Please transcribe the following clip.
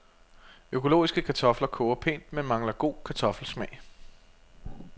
Økologiske kartofler koger pænt, men mangler god kartoffelsmag.